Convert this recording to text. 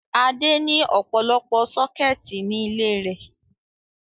Adé ní ọ̀pọ̀lọpọ̀ sọ́kẹ́tì ní ilé rẹ̀.